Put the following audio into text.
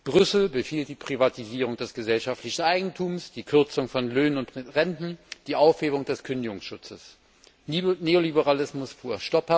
Brüssel befiehlt die Privatisierung des gesellschaftlichen Eigentums, die Kürzung von Löhnen und Renten, die Aufhebung des Kündigungsschutzes Neoliberalismus pur.